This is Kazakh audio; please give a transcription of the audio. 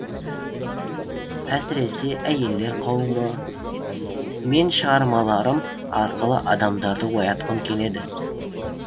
әсіресе әйелдер қауымы мен шығармаларым арқылы адамдарды оятқым келеді